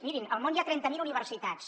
mirin al món hi ha trenta mil universitats